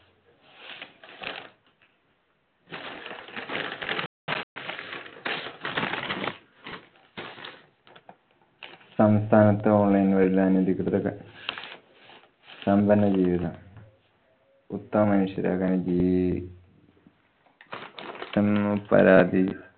സംസ്ഥാനത്ത് online വഴിയുള്ള അനധികൃത സമ്പന്ന ജീവിതം. മനുഷ്യരാകാന്‍ ജീ~ തന്നു പരാതി